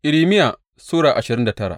Irmiya Sura ashirin da tara